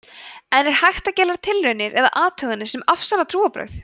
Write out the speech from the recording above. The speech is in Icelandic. en er hægt að gera tilraunir eða athuganir sem afsanna trúarbrögð